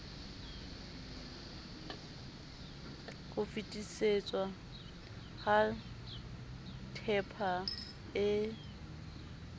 ho fetisetswa ha tehpa e